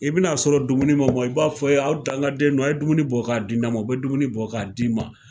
I bi na sɔrɔ dumuni man mɔn i b'a fɔ hee aw dankaden nunnu a ye dumuni bɔ ka di ne ma ,u be dumuni bɔ ka d'i ma.